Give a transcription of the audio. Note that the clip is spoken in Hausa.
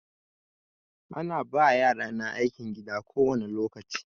Ana ba yarana aikin gida kowani lokaci.